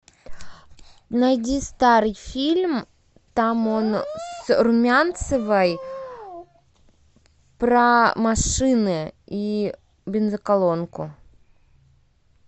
найди старый фильм там он с румянцевой про машины и бензоколонку